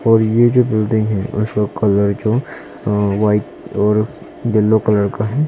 और ये जो बिल्डिंग है उसका कलर जो वाइट और येलो कलर का है।